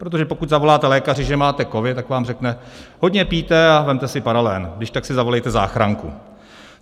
Protože pokud zavoláte lékaře, že máte covid, tak vám řekne: Hodně pijte a vezměte si paralen, když tak si zavolejte záchranku.